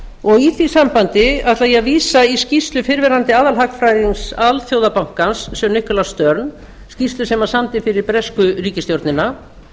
verður í því sambandi ætla ég að vísa í skýrslu fyrrverandi aðalhagfræðings alþjóðabankans sir nicolas sinn skýrslu sem hann samdi fyrir bresku ríkisstjórnina